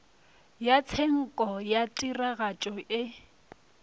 ya tshenko ya tiragatšo e